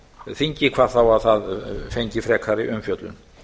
þingi hvað þá að það fengi frekari umfjöllun